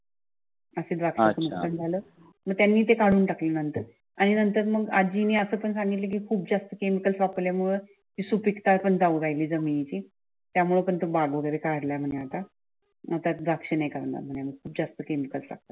मग त्यांनी ते काढून टाकले नंतर, आणि नंतर मग आजीने आपण सांगितली कि खूप जास्त केमिकल्स वापरल्या मुळे ते सुपीकता पण जाऊ लागली जमिनीची त्यामुळे तो बाग वगैरे काढला म्हणे आता त्यात द्राक्ष नाही करणार म्हणे आम्ही जास्त केमिकल लागतात